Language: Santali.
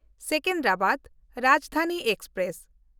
ᱥᱮᱠᱮᱱᱫᱨᱟᱵᱟᱫ ᱨᱟᱡᱽᱫᱷᱟᱱᱤ ᱮᱠᱥᱯᱨᱮᱥ